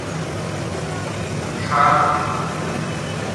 шацк